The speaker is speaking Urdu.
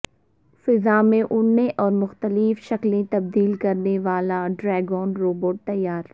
فضا میں اڑنے اور مختلف شکلیں تبدیل کرنیوالا ڈریگون روبوٹ تیار